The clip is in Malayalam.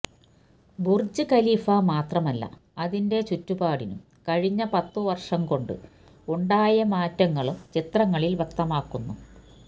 ബുർജ് ഖലീഫ മാത്രമല്ല അതിന്റെ ചുറ്റുപാടിനും കഴിഞ്ഞ പത്തു വർഷം കൊണ്ട് ഉണ്ടായ മാറ്റങ്ങളും ചിത്രങ്ങളിൽ വ്യക്തമാക്കുന്നു